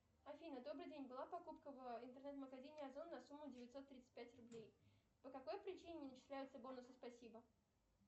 афина добрый день была покупка в интернет магазине озон на сумму девятьсот тридцать пять рублей по какой причине не начисляются бонусы спасибо